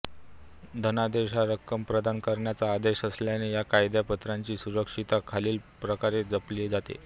धनादेश हा रक्कम प्रदान करण्याचा आदेश असल्याने या कागदपत्राची सुरक्षितता खालील प्रकारे जपली जाते